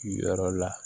Yɔrɔ la